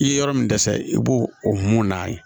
I ye yɔrɔ min dɛsɛ i b'o o mun n'a ye